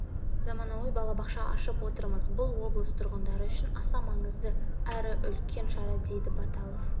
заманауи балабақша ашып отырмыз бұл облыс тұрғындары үшін аса маңызды әрі үлкен шара дейді баталов